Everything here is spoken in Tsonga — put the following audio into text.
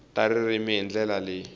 ta ririmi hi ndlela leyi